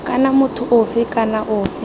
kana motho ofe kana ofe